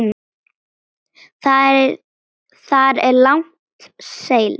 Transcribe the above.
Þar er langt seilst.